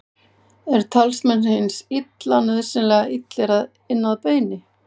eru talsmenn hins illa nauðsynlega illir inn að beini